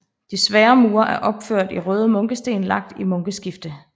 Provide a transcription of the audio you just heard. De svære mure er opførte i røde munkesten lagt i munkeskifte